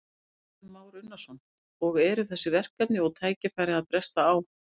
Kristján Már Unnarsson: Og eru þessi verkefni og tækifæri að bresta á?